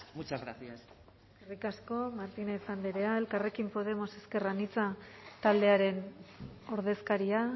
muchas gracias eskerrik asko martínez andrea elkarrekin podemos ezker anitza taldearen ordezkaria